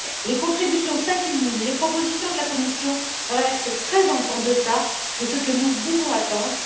Les contributions s'accumulent, les propositions de la Commission restent très en deçà de ce que nous pouvons attendre.